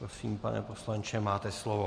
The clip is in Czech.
Prosím, pane poslanče, máte slovo.